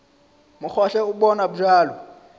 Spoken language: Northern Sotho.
mo gohle o bonwa bjalo